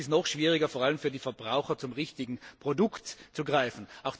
Und es ist noch schwieriger vor allem für die Verbraucher zum richtigen Produkt zu greifen.